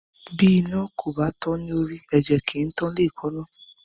Bí iná kò bá tán lórí, ẹ̀jẹ̀ kì í tán léèékánná.